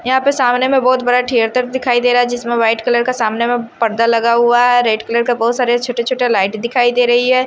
यहां पे सामने में बहोत बड़ा थिएटर दिखाई दे रहा है जिसमें व्हाइट कलर का सामने में पर्दा लगा हुआ है रेड कलर का बहुत सारे छोटे छोटे लाइट दिखाई दे रही है।